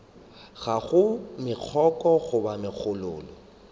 ga go megokgo goba megololo